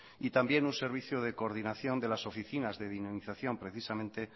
y también un servicio de coordinación de las oficinas de dinamización precisamente